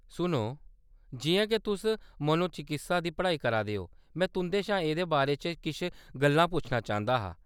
सुनो, जिʼयां के तुस मनोचिकित्सा दी पढ़ाई करा दे ओ, में तुंʼदे शा एह्‌‌‌दे बारे च किश गल्लां पुच्छना चांह्‌‌‌दा हा।